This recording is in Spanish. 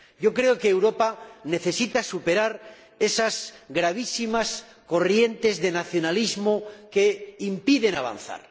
Creo que Europa necesita superar esas gravísimas corrientes de nacionalismo que impiden avanzar.